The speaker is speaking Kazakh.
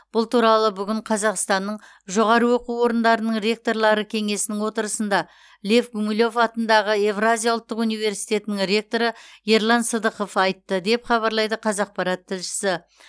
бұл туралы бүгін қазақстанның жоғары оқу орындарының ректорлары кеңесінің отырысында гумилев атындағы еуразия ұлттық университетінің ректоры ерлан сыдықов айтты деп хабарлайды қазақпарат тілшісі